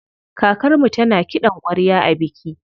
Kakarmu tana kiɗan ƙwarya a biki.